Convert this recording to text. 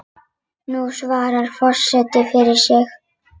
Nú svarar forseti fyrir sig.